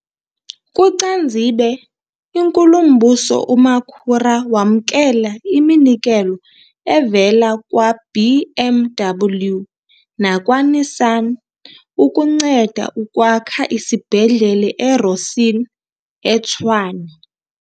KuCanzibe, iNkulumbuso uMakhura wamkela iminikelo evela kwa-BMW nakwa-Nissan ukunceda ukwakha isibhedlele e-Rossyln, eTshwane.